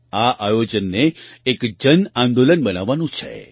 આ આયોજનને એક જન આંદોલન બનાવવાનું છે